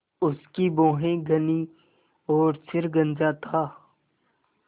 उसकी भौहें घनी और सिर गंजा था